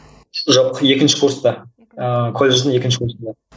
жоқ екінші курста ыыы колледждің екінші курсында